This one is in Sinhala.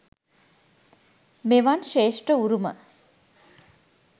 මෙවන් ශ්‍රේෂ්ඨ උරුම